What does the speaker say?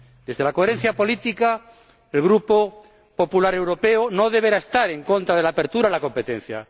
Desde la coherencia política, el Grupo Popular Europeo no deberá estar en contra de la apertura a la competencia.